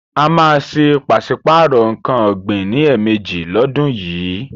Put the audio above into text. A má a ṣe pàsípàrò nǹkan ọ̀gbin ní ẹ̀mẹjì lọ́dún yìí.